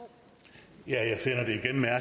jeg at